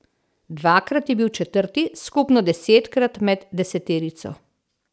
Dvakrat je bil četrti, skupno desetkrat med deseterico.